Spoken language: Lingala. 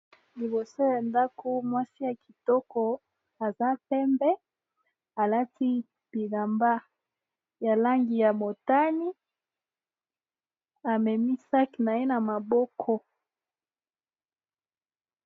Liboso ya ndako mwasi ya kitoko aza pembe alati bilamba ya langi ya motani amemisaki naye na maboko.